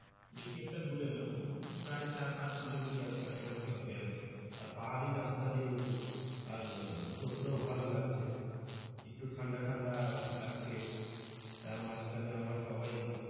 বেশি একটা দূরে না প্রায় চার পাঁচ কিলো মিটার কাছাকাছি হবে আরকি আর পাহাড়ি রাস্তা যেহেতু আর চলতেও ভালো লাগছে একটু ঠান্ডা ঠান্ডা লাগছে তার মাঝখানে আবার সবাই।